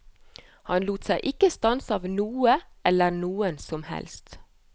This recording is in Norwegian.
Han lot seg ikke stanse av noe eller noen som helst.